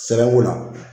Sɛbɛnko la